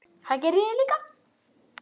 Það geri ég líka.